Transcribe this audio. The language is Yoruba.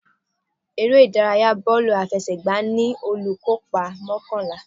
Eré ìdárayá bọ́ọ̀lù àfẹsẹ̀gbá ní olùkópa mọ́kànlá.